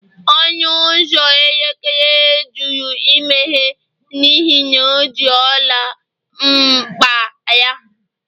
ọnụ ụzọ eletrik jụrụ imeghe n'ihi na o ji ọla n'akpa ya